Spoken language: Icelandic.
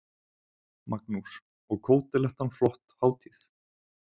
Magnús: Og Kótelettan flott hátíð?